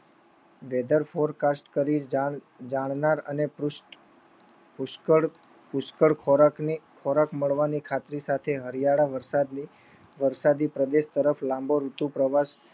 Weather for Cast કરી જાણનાર અને પુષ્કળ ખોરાક મળવાની ખાતરી સાથે હરિયાળા વરસાદની પ્રદેશ લાંબો ઋતુ પ્રવેશ